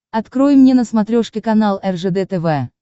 открой мне на смотрешке канал ржд тв